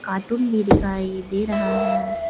Cartoon भी दिखाई दे रहा है।